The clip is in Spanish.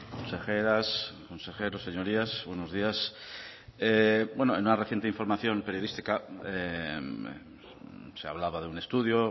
consejeras consejeros señorías buenos días en una reciente información periodística se hablaba de un estudio